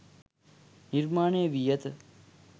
නිර්මාණය වී ඇත.